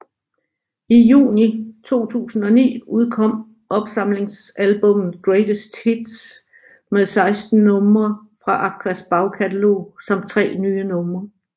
I juni 2009 udkom opsamlingsalbummet Greatest Hits med 16 numre fra Aquas bagkatalog samt tre nye numre